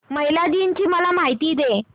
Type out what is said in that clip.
महिला दिन ची मला माहिती दे